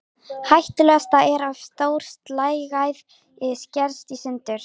Hættulegast er ef stór slagæð skerst í sundur.